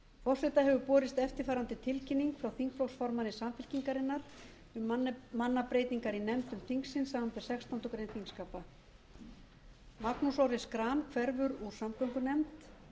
forseta hefur borist eftirfarandi tilkynning frá þingflokksformanni samfylkingarinnar um mannabreytingar í nefndum þingsins samanber sextándu grein þingskapa magnús orri schram hverfur úr samgöngunefnd